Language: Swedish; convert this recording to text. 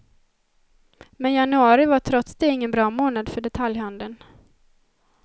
Men januari var trots det ingen bra månad för detaljhandeln.